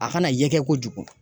A kana ye kɛ kojugu